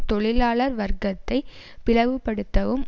தொழிலாளர் வர்க்கத்தை பிளவு படுத்தவும்